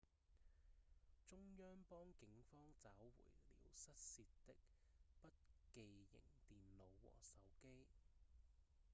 中央邦警方找回了失竊的筆記型電腦和手機